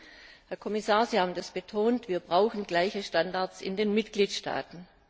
Und Herr Kommissar, Sie haben das betont, wir brauchen gleiche Standards in den Mitgliedstaaten.